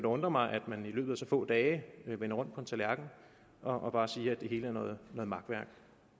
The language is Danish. undre mig at man i løbet af så få dage vender rundt på en tallerken og bare siger at det hele er noget makværk